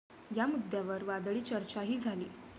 या मुद्द्यावर वादळी चर्चाही झाली.